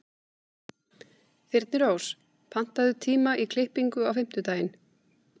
Þyrnirós, pantaðu tíma í klippingu á fimmtudaginn.